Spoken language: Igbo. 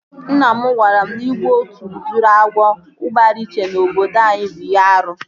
Nna m gwara m na igbu otu udiri agwọ gbara iche na obodo anyị bụ ihe árú